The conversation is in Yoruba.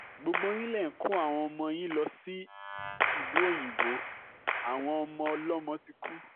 gbogbo yín lẹ̀ ń kó àwọn ọmọ yín lọ sílùú òyìnbó àwọn ọmọ ọlọ́mọ ti kú